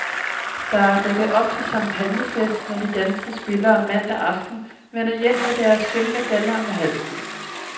Der er dækket op til champagnefest, når de danske spillere mandag aften vender hjem med deres sølvmedaljer om halsen.